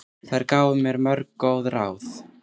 Þær gáfu mér mörg góð ráð.